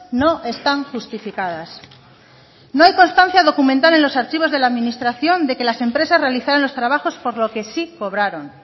no están justificadas no hay constancia documental en los archivos de la administración de que las empresas realizaran los trabajos por lo que sí cobraron